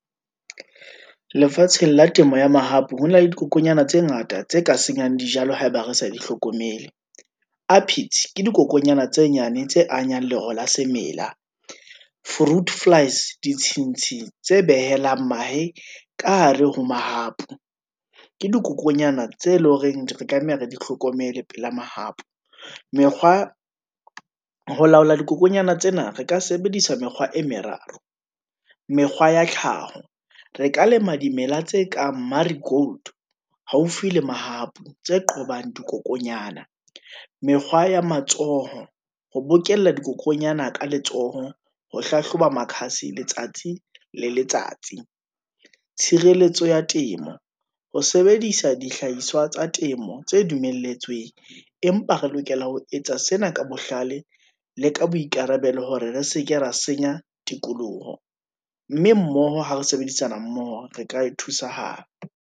Lefatsheng la temo ya mahapu, hona le dikokonyana tse ngata tse ka senyang dijalo haeba re sa di hlokomele, upits ke dikokonyana tse nyane tse amang lero la semela, fruit flies ditshintshi tse behelang mahe ka hare ho mahapu, ke dikokonyana tse leng horeng re tlameha re di hlokomele pela mahapu. Mekgwa, ho laola dikokonyana tsena re ka sebedisa mekgwa e meraro, mekgwa ya tlhaho, re ka lema dimela tse kang, marie gold haufi le mahapu, tse qobang dikokonyana, mekgwa ya matsoho, ho bokella dikokonyana ka letsoho, ho hlahloba makhasi, letsatsi le letsatsi. Tshireletso ya temo, ho sebedisa dihlahiswa tsa temo tse dumelletsweng, empa re lokela ho etsa sena ka bohlale, le ka boikarabelo hore re se ke ra senya tikoloho. Mme mmoho ha re sebedisana mmoho, re ka e thusahala.